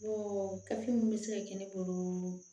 Ɔ gafe minnu bɛ se ka kɛ ne bolo